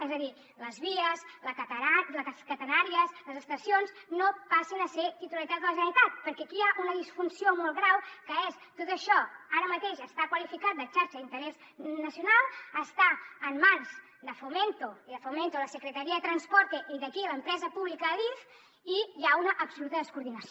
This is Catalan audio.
és a dir les vies les catenàries les estacions no passin a ser de titularitat de la generalitat perquè aquí hi ha una disfunció molt greu que és tot això ara mateix està qualificat de xarxa d’interès nacional està en mans de fomento de fomento de la secretaría de transporte i d’aquí l’empresa pública adif i hi ha una absoluta descoordinació